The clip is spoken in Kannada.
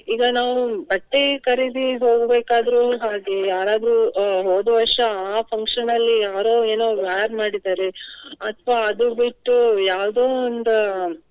ಈಗ ನಾವು ಬಟ್ಟೆ ಖರೀದಿಗ್ ಹೋಗ್ಬೇಕಾದ್ರೂನು ಹಾಗೆಯೇ. ಯಾರಾದ್ರೂ ಅಹ್ ಹೋದ ವರ್ಷ ಅಹ್ function ಲ್ಲಿ ಯಾರೋ ಏನೋ wear ಮಾಡಿದ್ದಾರೆ. ಅಥ್ವಾ ಅದು ಬಿಟ್ಟು ಯಾವೋದೋ ಒಂದು.